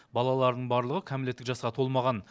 балаларының барлығы кәмелеттік жасқа толмаған